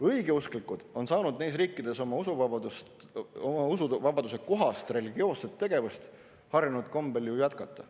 Õigeusklikud on saanud neis riikides usuvabaduse kohast religioosset tegevust harjunud kombel ju jätkata.